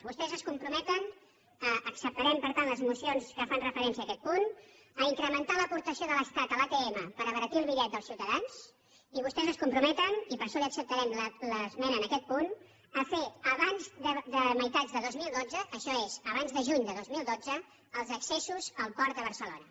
vostès es comprometen acceptarem per tant les esmenes que fan referència a aquest punt a incrementar l’aportació de l’estat a l’atm per abaratir el bitllet dels ciutadans i vostès es comprometen i per això li acceptarem l’esmena en aquest punt a fer abans de mitjan dos mil dotze això és abans de juny del dos mil dotze els accessos al port de barcelona